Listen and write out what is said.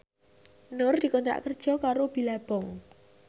Nur dikontrak kerja karo Billabong